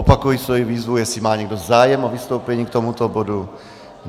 Opakuji svoji výzvu, jestli má někdo zájem o vystoupení k tomuto bodu.